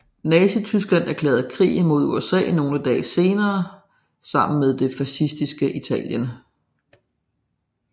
Nazityskland erklærede krig mod USA nogle få dage senere sammen med det fascistiske Italien